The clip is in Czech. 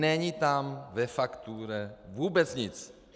Není tam ve faktuře vůbec nic.